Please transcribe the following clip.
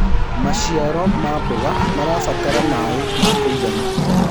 maciaro ma mboga marabatara maĩ ma kũigana